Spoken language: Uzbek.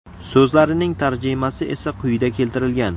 So‘zlarining tarjimasi esa quyida keltirilgan.